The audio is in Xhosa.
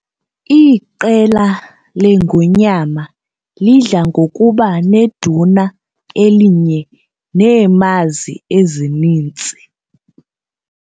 Iqela leengonyama lidla ngokuba neduna elinye neemazi ezininzi.